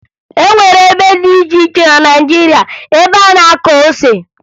E nwere ebe dị iche iche na Naịjirịa ebe a na-akụ ose